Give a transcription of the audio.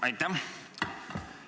Aitäh!